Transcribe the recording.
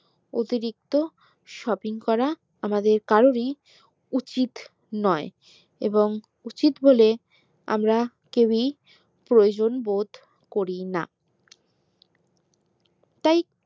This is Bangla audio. অতিরিক্ত shopping করা আমাদের কারোরই উচিত নোই এবং উচিত বলে আমরা কেউই প্রয়োজনবোধ করিনা তাই